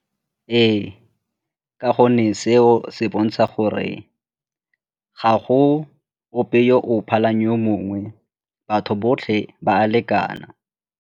Ee, ka gonne seo se bontsha gore ga go ope yo o phalang yo mongwe, batho botlhe ba a lekana.